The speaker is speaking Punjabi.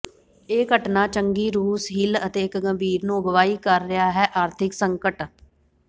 ਇਹ ਘਟਨਾ ਚੰਗੀ ਰੂਸ ਹਿੱਲ ਅਤੇ ਇੱਕ ਗੰਭੀਰ ਨੂੰ ਅਗਵਾਈ ਕਰ ਰਿਹਾ ਹੈ ਆਰਥਿਕ ਸੰਕਟ